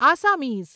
Assamese